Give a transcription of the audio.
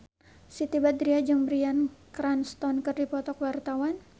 Siti Badriah jeung Bryan Cranston keur dipoto ku wartawan